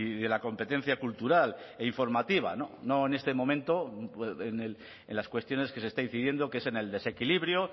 de la competencia cultural e informativa no en este momento en las cuestiones que se está incidiendo que es en el desequilibrio